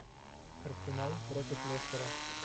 арсенал против лестера